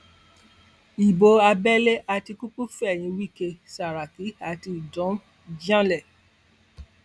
ibo abẹlé àtikukù fẹyìn wike sàràkí àti udom janlẹ